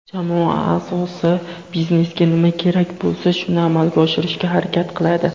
jamoa aʼzosi biznesga nima kerak bo‘lsa shuni amalga oshirishga harakat qiladi;.